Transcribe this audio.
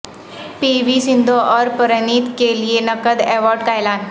پی V Sindhu اور پرنیت کے لیے نقد ایوارڈ کا اعلان